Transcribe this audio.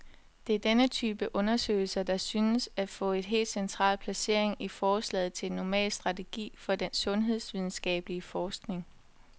Det er denne type undersøgelser, der synes at få et helt central placering i forslaget til en normal strategi for den sundhedsvidenskabelig forskning.